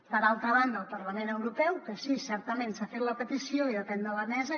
per altra banda el parlament europeu que sí certament s’ha fet la petició i depèn de la mesa